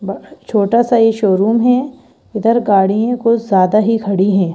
छोटा सा ये शोरूम है इधर गाड़ियां कुछ ज्यादा ही खड़ी हैं।